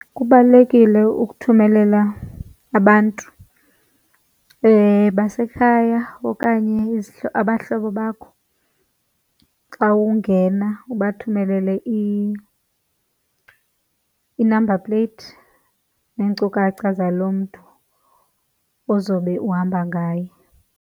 Kubalulekile ukuthumelela abantu basekhaya okanye abahlobo bakho. Xa ungena ubathumelele i-number plate neenkcukacha zaloo mntu ozobe uhamba ngaye.